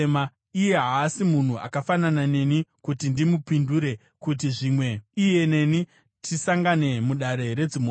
“Iye haasi munhu akafanana neni kuti ndimupindure, kuti zvimwe iye neni tisangane mudare redzimhosva.